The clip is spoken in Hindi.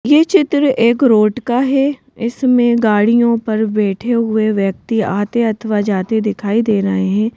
ये चित्र एक रोड का है इसमें गाड़ियों पर बैठे हुए व्यक्ति आते अथवा जाते दिखाई दे रहे हैं।